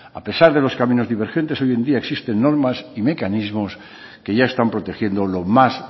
a pesar de los caminos divergentes hoy en día existen normas y mecanismos que ya están protegiendo lo más